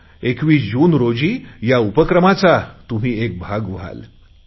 21 जून रोजी या उपक्रमाचा तुम्ही एक भाग व्हाल